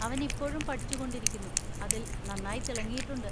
അവൻ ഇപ്പോഴും പഠിച്ചുകൊണ്ടിരിക്കുന്നു, അതിൽ നന്നായി തിളങ്ങിയിട്ടുണ്ട്.